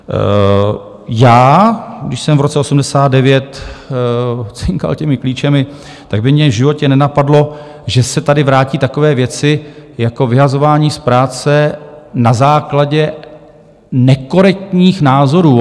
Já, když jsem v roce 1989 cinkal těmi klíči, tak by mě v životě nenapadlo, že se tady vrátí takové věci jako vyhazování z práce na základě nekorektních názorů.